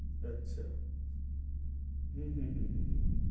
আচ্ছা, হু হু হু হু।